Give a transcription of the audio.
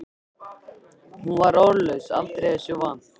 Hún var orðlaus aldrei þessu vant.